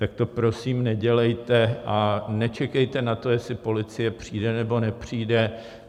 Tak to prosím nedělejte a nečekejte na to, jestli policie přijde, nebo nepřijde.